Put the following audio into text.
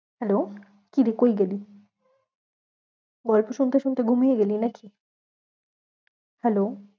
Hello কি রে কই গেলি? গল্প শুনতে শুনতে ঘুমিয়ে গেলি না কি? hello